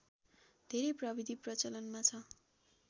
धेरै प्रविधि प्रचलनमा छ